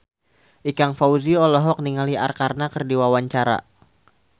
Ikang Fawzi olohok ningali Arkarna keur diwawancara